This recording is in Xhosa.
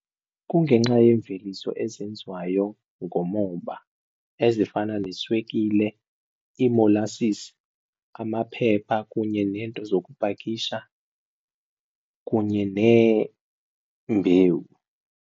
Kungenxa yeemveliso ezenziwayo ngomoba ezifana neswekile, iimolasisi, amaphepha kunye neento zokupakisha kunye neembewu.